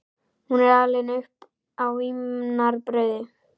Hún er alin upp á vínarbrauði.